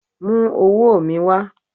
mu owo mi wa!